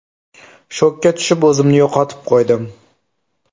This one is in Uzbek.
Shokka tushib, o‘zimni yo‘qotib qo‘ydim.